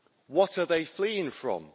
What are they fleeing from?